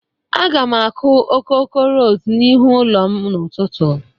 Aga m akụ okoko ros n'ihu ụlọ m n'ụtụtụ.